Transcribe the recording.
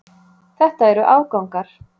Þetta eru afgangar.